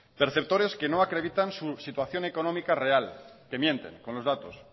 perceptores que no acreditan su situación económica real que mienten con los datos